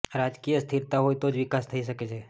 રાજકીય સ્થિરતા હોય તો જ વિકાસ થઇ શકે છે